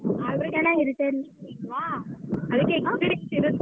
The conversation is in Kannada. ಆದ್ರೆ ಚೆನ್ನಾಗಿರುತ್ತೆ .